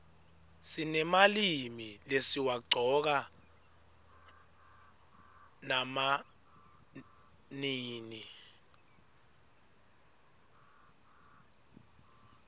sinemalimi lesiwaqcoka nama nini